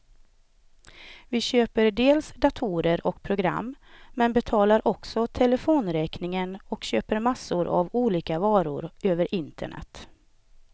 Vi köper dels datorer och program, men betalar också telefonräkningen och köper massor av olika varor över internet.